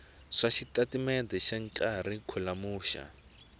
swa xitatimendhe xa kharikhulamu xa